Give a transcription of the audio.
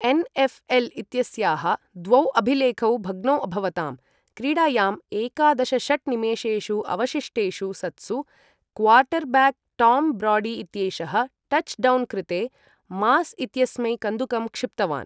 NLL. इत्यस्याः द्वौ अभिलेखौ भग्नौ अभवताम्, क्रीडायां एकादशषट् निमेशेषु अवशिष्टेषु सत्सु क्वार्टर्ब्याक् टाम् ब्राडी इत्येषः टच् डौन् कृते मास् इत्यस्मै कन्दुकं क्षिप्तवान्।